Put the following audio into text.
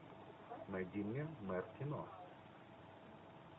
найди мне мэп кино